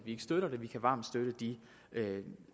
ikke støtter det vi kan varmt støtte de